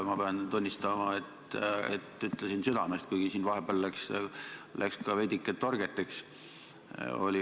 Ma pean tunnistama, et ütlesin südamest, kuigi siin vahepeal läks ka veidike torgeteks.